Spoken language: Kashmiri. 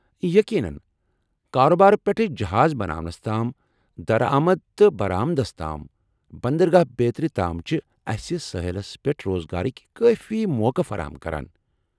یقینن! کاربار پٮ۪ٹھہٕ جہاز بناونس تام ، درآمد تہٕ برآمدس تام ، بندرگاہ بیترِ تام چھِ اسہِ سٲحِلس پیٹھ روزگارٕکۍ کٲفی موقعہٕ فرہم کران۔